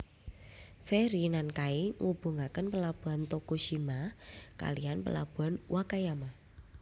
Feri Nankai ngubungaken Pelabuhan Tokushima kalihan Pelabuhan Wakayama